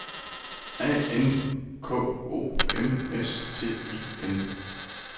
A N K O M S T E N